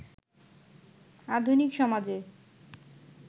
আধুনিক সমাজে